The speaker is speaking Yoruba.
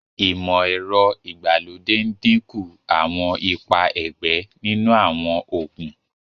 imọ-ẹrọ ìgbàlódé n dínkù Àwọn ipá ẹgbẹ nínú àwọn oògùn.